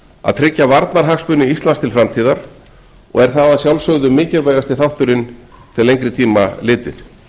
að tryggja varnarhagsmuni íslands til framtíðar og er það að sjálfsögðu mikilvægasti þátturinn til lengri tíma litið